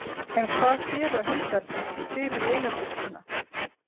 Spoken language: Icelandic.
En hvað gera hundarnir fyrir eigendur sína?